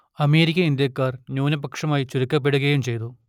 American ഇന്ത്യക്കാർ ന്യൂനപക്ഷമായി ചുരുക്കപ്പെടുകയും ചെയ്തു